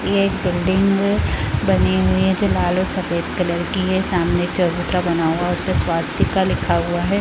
ये एक बिल्डिंग है बनी हुई है जो लाल और सफ़ेद कलर की है सामने एक चबूतरा बना हुआ है उसपे स्वास्तिक लिखा हुआ है ।